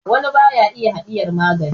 wani ba ya iya hadiyar magani